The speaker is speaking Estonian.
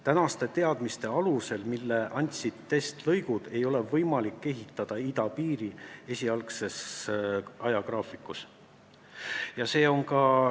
Tänaste teadmiste alusel, mille andsid testlõigud, ei ole võimalik idapiiri esialgse ajagraafiku kohaselt ehitada.